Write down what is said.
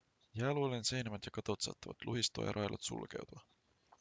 jääluolien seinämät ja katot saattavat luhistua ja railot sulkeutua